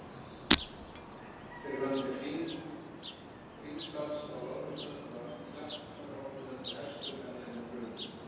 Fyrir landi Hringsdals á Látraströnd var klettadrangur nefndur Hestur en er nú hruninn.